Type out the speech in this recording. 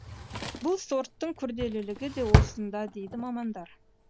бұл сорттың күрделілігі де осында дейді мамандар